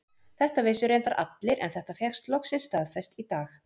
Þetta vissu reyndar allir en þetta fékkst loksins staðfest í dag.